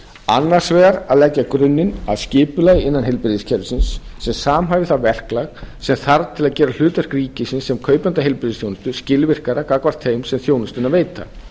annars vegar að leggja grunninn að skipulagi innan heilbrigðiskerfisins sem samhæfir það verklag sem þarf til að gera hlutverk ríkisins sem kaupanda heilbrigðisþjónustu skilvirkara gagnvart þeim sem þjónustuna veita